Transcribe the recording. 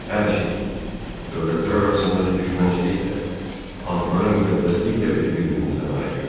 Hər şey, dövlətlər arasındakı düşmənçilik də, antların müqəddəsliyi də bizi bir-birimizdən ayırır.